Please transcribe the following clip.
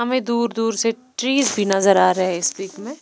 हमें दूर दूर से ट्रीज भी नजर आ रहे है इस पिक में--